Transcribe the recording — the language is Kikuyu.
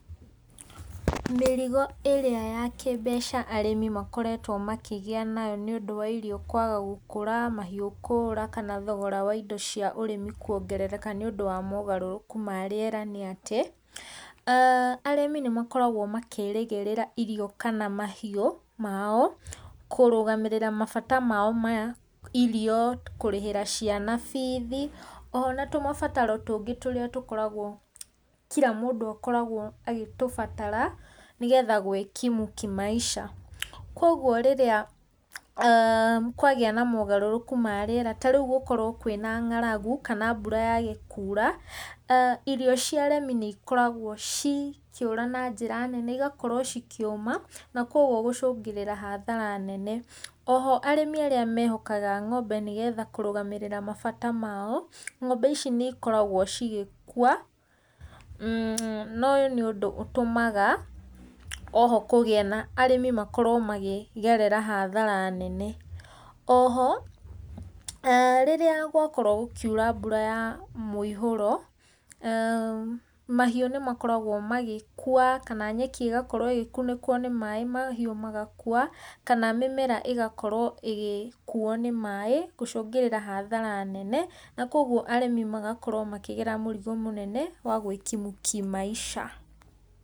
Mĩrigo ĩrĩa ya kĩmbeca arĩmi makoretwo makĩgĩa nayo nĩ ũndũ wa irio kwaga gũkũra, mahiũ kũũra kana thogora wa indo cia ũrĩmi kwongerereka nĩ ũndũ wa mogarũrũku ma rĩera nĩ atĩ, arĩmi nĩ makoragwo makĩrĩgĩrĩra irio kana mahiũ mao kũrũgamĩrĩra mabato mao ma irio, kũrĩhĩra ciana bithi, oho na tũmabataro tũngĩ tũrĩa tũkoragwo, kira mũndũ akoragwo agĩtũbatara nĩ getha gwĩkimu kĩmaica. Kogwo rĩrĩa kwagĩa na mogarũrũku ma rĩera, ta rĩu gũkorwo kwĩna ng'aragu, kana mbura yage kuura, irio cia arĩmi nĩ ikoragwo cikĩũra na njĩra nene, cigakorwo cikĩũma, na kogwo gũcũngĩrĩra hathara nene. Oho arĩmi arĩa mehokaga ng'ombe nĩ getha kũrũgamĩrĩra mabata mao; ng'ombe ici nĩ ikoragwo cigĩkua, na ũyũ nĩ ũndũ ũtumaga, oho kũgĩa na, arĩmi makorwo makĩgerera hathara nene. Oho, rĩrĩa gwakorwo gũkiura mbura ya mũihũro, mahiũ nĩ makoragwo magĩkua, kana nyeki ĩgakorwo ĩgĩkunĩkwo nĩ maaĩ mahiũ magakua, kana mĩmera igakorwo ĩgĩkuuo ni maaĩ, gũcũngĩrĩra hathara nene. Na koguo arĩmi magakorwo makĩgera mũrigo mũnene wa gwĩkimu kĩmaica.